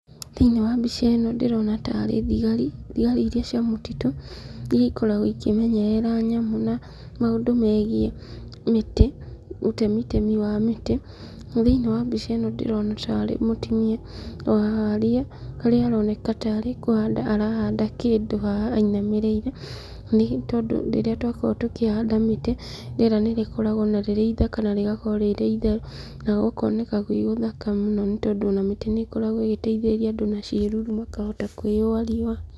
Thĩ-inĩ wa mbica ĩno ndĩrona ta arĩ thigari, thigari iria cia mũtitũ iria ikoragwo ikĩmenyerera nyamũ na maũndũ megiĩ mĩtĩ, ũtemitemi ya mĩtĩ. Na thĩ-inĩ wa mbica ĩno ndĩrona ta arĩ mũtumia o harĩa. Harĩa aroneka ta arĩ kũhanda arahanda kĩndũ haha ainamĩrĩire. Na nĩ tondũ rĩrĩa twakorwo tũkĩhanda mĩtĩ, rĩera nĩrĩkoragwo na rĩrĩ ithaka na rĩgakorwo rĩrĩ. Na gũkoneka gwĩ gũthaka mũno nĩ tondũ ona mĩtĩ nĩ ĩkoragwo ĩgĩteithĩrĩria andũ na ciĩruru mũno makahota kwĩyũa rĩũa.